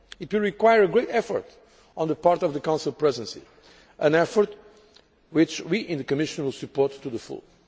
It will require a great effort on the part of the Council Presidency, an effort which we in the Commission will support to the full.